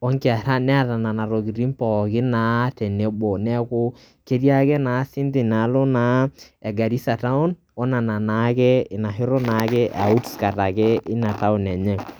onkera neeta nena tokitin pookin naa tenebo neku ketii naa inaalo e Garissa town]cs] we inaalo naake ina [csoutskirt enye.